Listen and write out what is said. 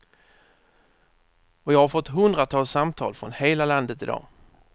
Och jag har fått hundratals samtal från hela landet i dag.